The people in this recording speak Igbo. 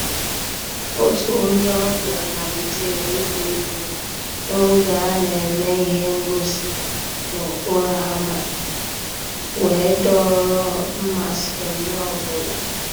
Ótú ónyé ọ̀bíá màlítérè ìgbá égwú n'ògé á ná-èmè íhé ngósì n'òkpòró ámá wéé dòọ́rọ́ mmàsí ónyé ọ́ bụ́là..